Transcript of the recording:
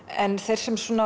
en þeir sem